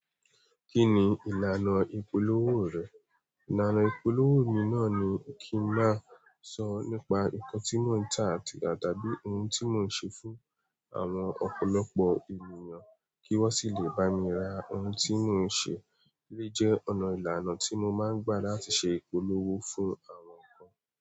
Kí ni ìlànà ìpolówó rẹ̀? Ìlànà ìpolówó mi náà ni kí ń máa sọ nípa nǹkan tí mò ń tà àti àtàbí ohun tí mò ń ṣe fún àwọn ọ̀pọ̀lọpọ̀ ènìyàn kí wọ́n sì lè bá mi ra ohun tí mò ń ṣe. Eleyii je ọ̀nà ìlànà tí mo máa ń gbà láti ṣe ìpolówó fún àwọn nǹkan.